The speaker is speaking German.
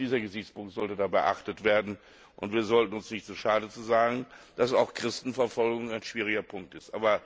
Auch dieser Gesichtspunkt sollte beachtet werden, und wir sollten uns nicht zu schade sein zu sagen, dass auch Christenverfolgung ein schwieriger Punkt ist.